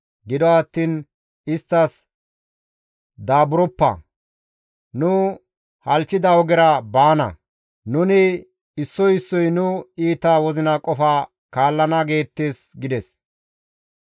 Gido attiin isttas, ‹Daaburoppa; nu halchchida ogera baana; nuni issoy issoy nu iita wozina qofa kaallana› geettes» gides.